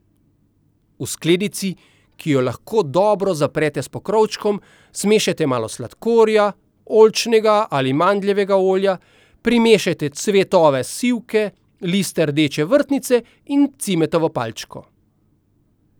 V skledici, ki jo lahko dobro zaprete s pokrovom, zmešajte malo sladkorja, oljčnega ali mandljevega olja, primešajte cvetove sivke, liste rdeče vrtnice in cimetovo palčko.